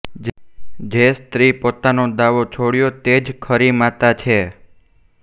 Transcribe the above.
જે સ્ત્રી પોતાનો દાવો છોડ્યો તેજ ખરી માતા છે